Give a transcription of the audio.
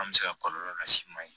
An bɛ se ka kɔlɔlɔ las'i ma ye